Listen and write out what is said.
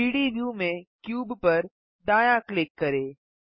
3डी व्यू में क्यूब पर दायाँ क्लिक करें